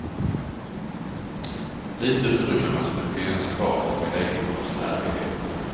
Lite utrymme måste det finnas kvar för min egen konstnärlighet.